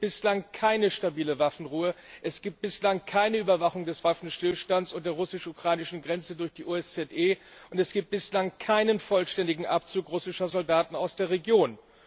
Es gibt bislang keine stabile Waffenruhe, es gibt bislang keine Überwachung des Waffenstillstands an der russisch ukrainischen Grenze durch die OSZE, und es gibt bislang keinen vollständigen Abzug russischer Soldaten aus der Region.